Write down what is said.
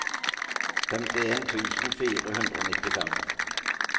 femtien tusen fire hundre og nittifem